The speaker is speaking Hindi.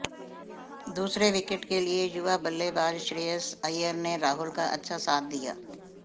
दूसरे विकेट के लिए युवा बल्लेबाज श्रेयस अय्यर ने राहुल का अच्छा साथ दिया